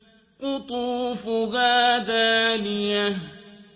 قُطُوفُهَا دَانِيَةٌ